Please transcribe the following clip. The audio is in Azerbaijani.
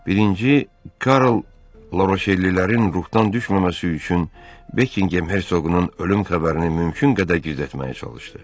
Birinci Karl Laroşellilərin ruhdan düşməməsi üçün Bekinqem Hersoqunun ölüm xəbərini mümkün qədər gizlətməyə çalışdı.